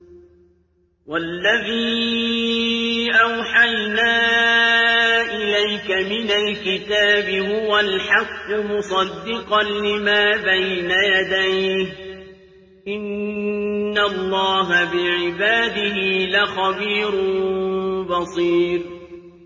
وَالَّذِي أَوْحَيْنَا إِلَيْكَ مِنَ الْكِتَابِ هُوَ الْحَقُّ مُصَدِّقًا لِّمَا بَيْنَ يَدَيْهِ ۗ إِنَّ اللَّهَ بِعِبَادِهِ لَخَبِيرٌ بَصِيرٌ